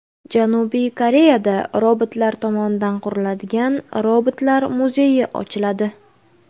Janubiy Koreyada robotlar tomonidan quriladigan robotlar muzeyi ochiladi.